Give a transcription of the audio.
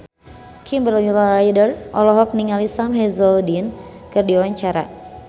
Kimberly Ryder olohok ningali Sam Hazeldine keur diwawancara